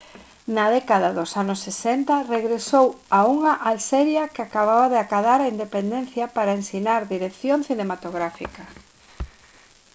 na década dos anos 60 regresou a unha alxeria que acababa de acadar a independencia para ensinar dirección cinematográfica